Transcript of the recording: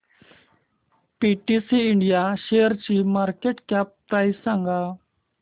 PTC India शेअरची market cap price सांगा